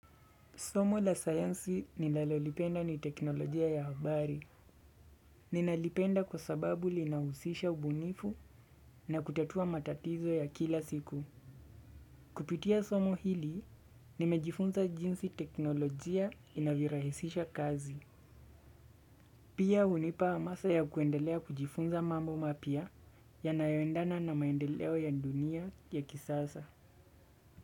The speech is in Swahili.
Somo la sayansi ninalolipenda ni teknolojia ya habari. Ninalipenda kwa sababu linahusisha ubunifu na kutatua matatizo ya kila siku. Kupitia somo hili, nimejifunza jinsi teknolojia inavyorahisisha kazi. Pia hunipa hamasa ya kuendelea kujifunza mambo mapya yanayoendana na maendeleo ya dunia ya kisasa.